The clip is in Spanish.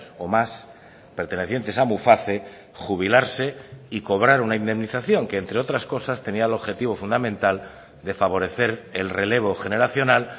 o más pertenecientes a muface jubilarse y cobrar una indemnización que entre otras cosas tenía el objetivo fundamental de favorecer el relevo generacional